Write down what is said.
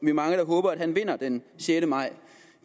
er mange der håber at han vinder den sjette maj